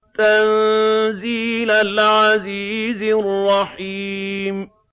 تَنزِيلَ الْعَزِيزِ الرَّحِيمِ